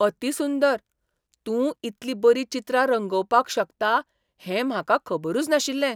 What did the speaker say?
अती सुंदर! तूं इतली बरी चित्रां रंगोवपाक शकता हें म्हाका खबरूच नाशिल्लें!